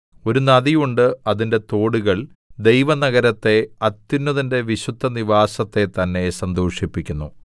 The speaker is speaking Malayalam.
ഒരു നദി ഉണ്ട് അതിന്റെ തോടുകൾ ദൈവനഗരത്തെ അത്യുന്നതന്റെ വിശുദ്ധനിവാസത്തെ തന്നെ സന്തോഷിപ്പിക്കുന്നു